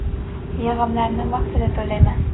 Yig‘imlarni vaqtida to‘layman.